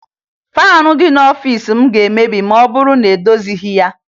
Faanị dị n'ọfiisi m ga-emebi ma ọ bụrụ na edozighi ya